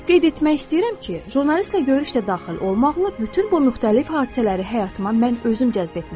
Qeyd etmək istəyirəm ki, jurnalistlə görüş də daxil olmaqla bütün bu müxtəlif hadisələri həyatıma mən özüm cəzb etmişəm.